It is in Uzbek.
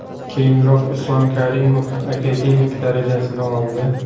Keyinroq Islom Karimov akademik darajasini oldi.